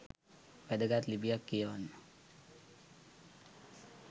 වැදගත් ලිපියක් කියවන්න